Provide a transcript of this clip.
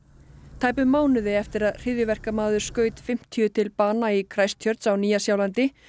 tæpum mánuði eftir að hryðjuverkamaður skaut fimmtíu til bana í á Nýja Sjálandi